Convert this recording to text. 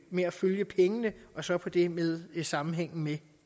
med at følge pengene og så det med sammenhængen med